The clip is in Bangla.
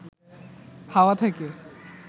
হাওয়া থেকে